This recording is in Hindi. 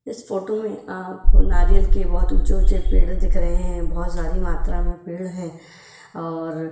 इस फोटो में आप नारियल के बहुत ऊंचे ऊंचे पेड़ दिख रहे हैं बहुत सारी मात्रा में पेड़ हैं और --